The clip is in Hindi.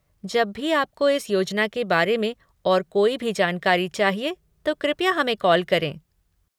जब भी आपको इस योजना के बारे में और कोई भी जानकारी चाहिए तो कृपया हमें कॉल करें।